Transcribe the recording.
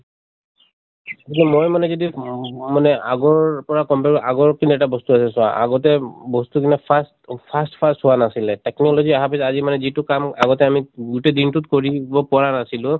মই মানে যদি উম মানে আগৰ পৰা আগৰ পিনে এটা বস্ত আছে চোৱা আহতে বস্তু বিলাক fast fast fast হোৱা নাছিলে। technology আহা পিছত আজি মানে যিটো কাম আগতে আমি গোটেই দিন টোত কৰিব পৰা নাছিলো,